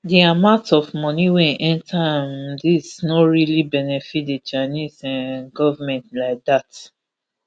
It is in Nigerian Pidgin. di amount of money wey enta um dis no really benefit di chinese um goment like dat